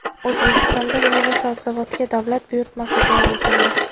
O‘zbekistonda meva-sabzavotga davlat buyurtmasi joriy etildi.